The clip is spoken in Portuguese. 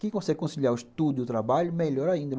Quem consegue conciliar o estudo e o trabalho, melhor ainda.